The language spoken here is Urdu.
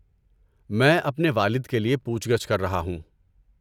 میں اپنے والد کے لیے پوچھ گچھ کر رہا ہوں۔